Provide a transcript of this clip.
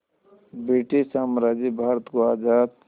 British साम्राज्य भारत को आज़ाद